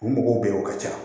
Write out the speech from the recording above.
U mɔgɔw bɛ yen o ka ca